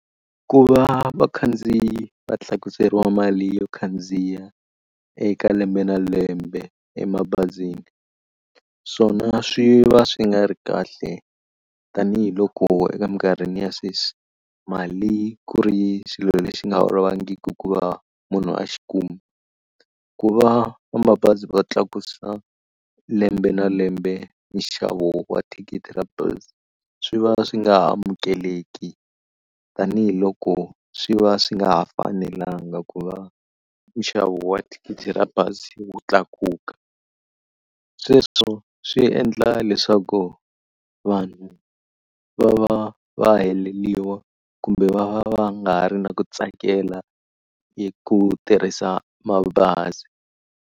Ku va vakhandziyi va tlakuseriwa mali yo khandziya eka lembe na lembe emabazini swona swi va swi nga ri kahle tanihiloko eka emikarhini ya sweswi mali ku ri xilo lexi nga olovangiki ku va munhu a xi kuma. Ku va va mabazi va tlakusa lembe na lembe nxavo wa thikithi ra bazi swi va swi nga amukeleki tanihiloko swi va swi nga ha fanelanga ku va nxavo wa thikithi ra bazi wu tlakuka. Sweswo swi endla leswaku vanhu va va va heleliwa kumbe va va va nga ha ri na ku tsakela ku tirhisa mabazi.